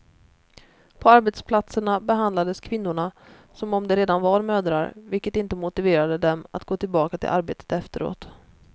På arbetsplatserna behandlades kvinnorna som om de redan var mödrar, vilket inte motiverade dem att gå till baka till arbetet efteråt.